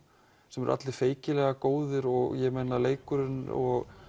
sem eru allir feikilega góðir leikurinn og